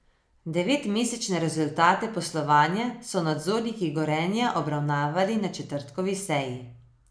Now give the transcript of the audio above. Devetmesečne rezultate poslovanja so nadzorniki Gorenja obravnavali na četrtkovi seji.